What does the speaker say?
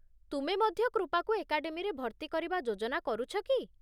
ତୁମେ ମଧ୍ୟ କୃପାକୁ ଏକାଡେମୀରେ ଭର୍ତ୍ତିକରିବା ଯୋଜନା କରୁଛ କି?